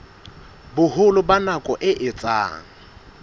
boholo ba nako e etsang